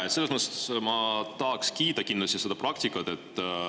Jaa, selles mõttes ma kindlasti tahaks kiita seda praktikat.